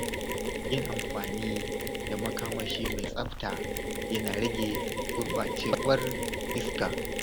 Yin amfani da makamashi mai tsafta yana rage gurɓacewar iska.